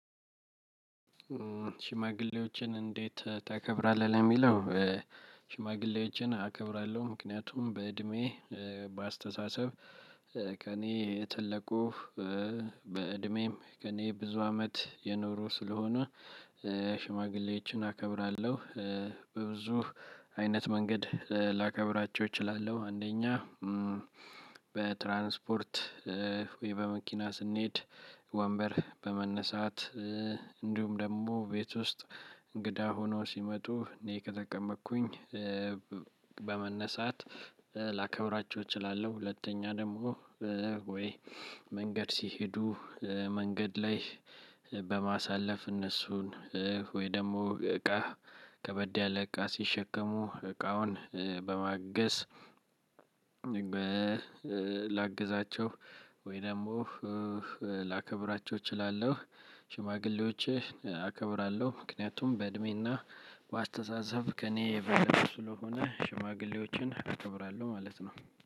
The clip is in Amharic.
ሽማግሌዎችን እንዴት ታከብራለህ የሚለው? ሽማግሌዎችን አከብራለሁ ምክንያቱም በእድሜ እ በአስተሳሰብ እ ከእኔ የተለቁ እ በእድሜም ከእኔ ብዙ አመት የኖሩ ስለሆኑ እ ሽማግሌዎችን አከብራለሁ እ በብዙ አይነት መንገድ ላከብራቸው እችላለሁ። አንደኛ እ በትራንስፖርት እ ወይ በመኪና ስንሄድ ወንበር በመነሳት እ እንዲሁም ደግሞ ቤት ውስጥ እንግዳ ሆኖ ሲመጡ እኔ ከጠቀመኩኝ እ በመነሳት እጨላከብራቸው እችላለሁ። እኛ ደግሞ እ ወይ መንገድ ሲሄዱ እ መንገድ ላይ በማሳለፍ እነሱን እ ወይም ደግሞ እቃ ከበድ ያለ እቃ ሲሸከሙ እቃውን እ በማገዝ ላግዛቸው ወይ ደግሞ ላከብራቸው እችላለሁ። ሽማግሌዎችን አከብራለሁ ምክንያቱም በእድሜና በአስተሳሰብ ከእኔ የበለጡ ስለሆነ ሽማግሌዎችን አከብራለሁ ማለት ነው።